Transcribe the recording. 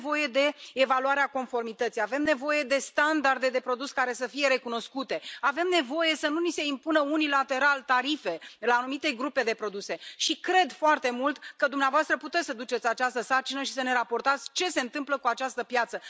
Avem nevoie de evaluarea conformității, avem nevoie de standarde de produs care să fie recunoscute, avem nevoie să nu ni se impună unilateral tarife la anumite grupe de produse și cred foarte mult că dumneavoastră puteți să duceți această sarcină și să ne raportați ce se întâmplă cu această piață.